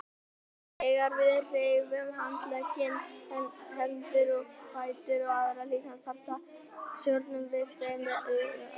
Þegar við hreyfum handleggi, hendur, fætur og aðra líkamsparta stjórnum við þeim með huganum.